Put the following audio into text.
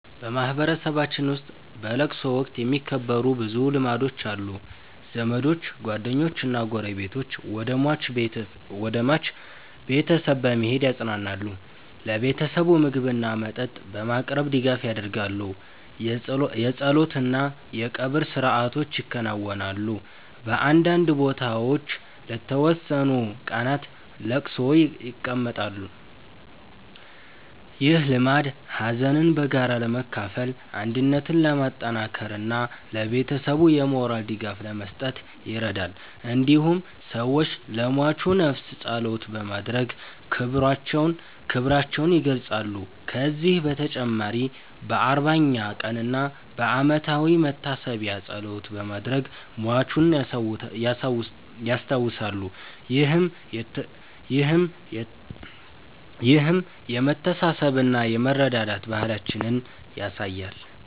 በማህበረሰባችን ውስጥ በለቅሶ ወቅት የሚከበሩ ብዙ ልማዶች አሉ። ዘመዶች፣ ጓደኞችና ጎረቤቶች ወደ ሟች ቤተሰብ በመሄድ ያጽናናሉ። ለቤተሰቡ ምግብና መጠጥ በማቅረብ ድጋፍ ያደርጋሉ። የጸሎት እና የቀብር ሥርዓቶች ይከናወናሉ። በአንዳንድ ቦታዎች ለተወሰኑ ቀናት ለቅሶ ይቀመጣል። ይህ ልማድ ሀዘንን በጋራ ለመካፈል፣ አንድነትን ለማጠናከር እና ለቤተሰቡ የሞራል ድጋፍ ለመስጠት ይረዳል። እንዲሁም ሰዎች ለሟቹ ነፍስ ጸሎት በማድረግ ክብራቸውን ይገልጻሉ። ከዚህ በተጨማሪ በ40ኛ ቀን እና በዓመታዊ መታሰቢያ ጸሎት በማድረግ ሟቹን ያስታውሳሉ። ይህም የመተሳሰብና የመረዳዳት ባህላችንን ያሳያል።